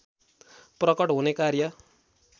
प्रकट होने कार्य